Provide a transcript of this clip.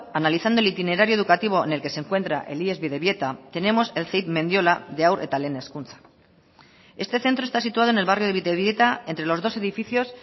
analizando el itinerario educativo en el que se encuentra el ies bidebieta tenemos el ceip mendiola de haur eta lehen hezkuntza este centro está situado en el barrio de bidebieta entre los dos edificios